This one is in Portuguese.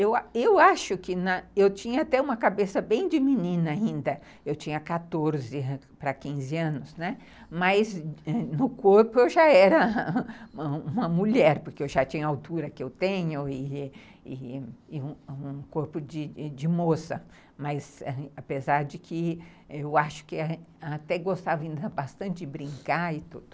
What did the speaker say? Eu acho que eu tinha até uma cabeça bem de menina ainda, eu tinha quatorze para quinze anos, mas no corpo eu já era uma mulher, porque eu já tinha a altura que eu tenho e um um corpo de moça, mas apesar de que eu acho que até gostava bastante de brincar e tudo.